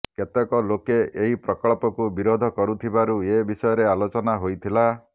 କେତେକ ଲୋକେ ଏହି ପ୍ରକଳ୍ପକୁ ବିରୋଧ କରୁଥିବାରୁ ଏ ବିଷୟରେ ଆଲୋଚନା ହୋଇଥିଲା